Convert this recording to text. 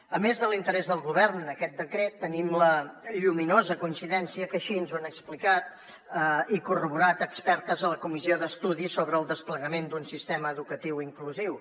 a més de l’interès del govern en aquest decret tenim la lluminosa coincidència que així ens ho han explicat i corroborat expertes a la comissió d’estudi sobre el desplegament d’un sistema educatiu inclusiu